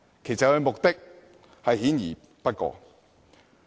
其目的明顯不過。